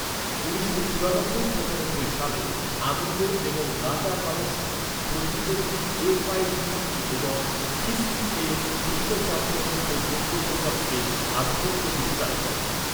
উনিশশো চুরানব্বই পচানব্বই সালে, আনন্দ এবং গাটা কামস্কি প্রতিদ্বন্দ্বী এফ আই ডি ই এবং পি সি এ বিশ্ব চ্যাম্পিয়নশিপের যোগ্যতা চক্রে আধিপত্য বিস্তার করেন।